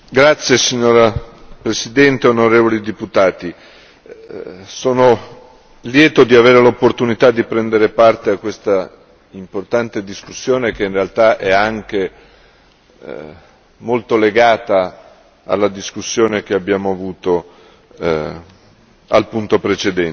Signora Presidente, onorevoli deputati, sono lieto di avere l'opportunità di prendere parte a questa importante discussione che in realtà è anche molto legata alla discussione che abbiamo avuto al punto precedente.